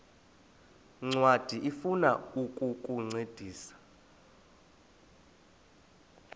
ncwadi ifuna ukukuncedisa